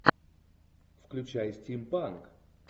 включай стимпанк